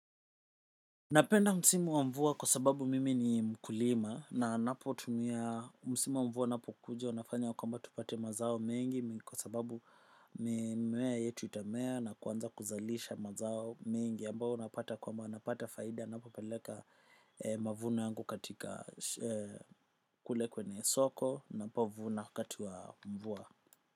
Napenda msimu wa mvua kwa sababu mimi ni mkulima na napotumia msimu wa mvua unapokuja inafanya ya kwamba tupate mazao mengi kwa sababu mimea yetu itamea na kuanza kuzalisha mazao mengi ambao unapata kwamba napata faida napopeleka mavuno yangu katika kule kwenye soko ninapovuna wakati wa mvua.